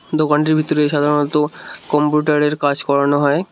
দোকানটির ভিতরে সাধারণত কম্পিউটারের কাজ করানো হয়।